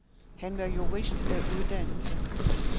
Han var jurist af uddannelse.